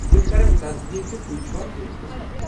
تم کرن تصدیٖق زِ تۄہۍ چھُوا فہرستس منٛز۔